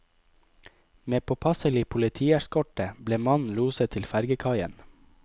Med påpasselig politieskorte ble mannen loset til fergekaien.